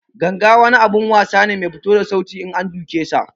Ganga wani abun wasa ne Mai fito da sauti in an duke sa.